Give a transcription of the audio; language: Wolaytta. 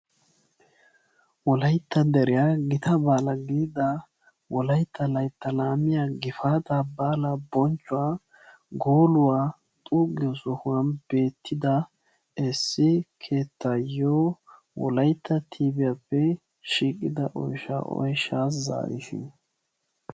wolayta deriyan gitaa baala gididaa Wolaytta laytta laamiyaa gifaata baala bochcuwaa gooluwaa xuuggiyo sohuwan beettida issi keettayiyo Wolaytta tiviyappe shiiqida oyshsha oyshsha zaariis..